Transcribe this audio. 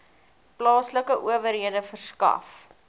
plaaslike owerhede verskaf